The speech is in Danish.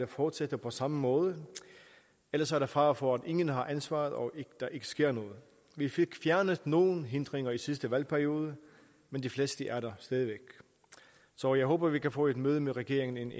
fortsætter på samme måde ellers er der fare for at ingen har ansvaret og at der ikke sker noget vi fik fjernet nogle hindringer i sidste valgperiode men de fleste er der stadig væk så jeg håber at vi kan få et møde med regeringen